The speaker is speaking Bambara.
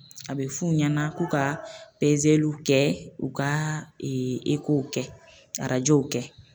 A bɛ f'u ɲɛna k'u ka kɛ, u ka kɛ, kɛ.